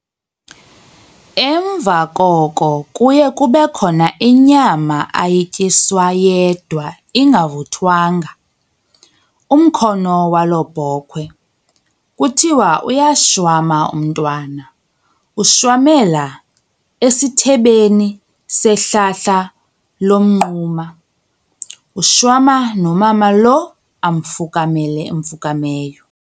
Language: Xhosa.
Emva koko kuye kube khona inyama ayityiswa yedwa ingavuthwanga, umkhono walo bhokwe, kuthiwa uyashwama umntwana, ushwamela esithebeni sehlahla lomnquma, ushwama nomama lo amfukamile amfukameyo.